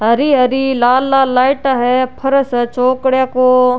हरी हरी लाल लाल लाइटाँ है फारस है चौकड़े को।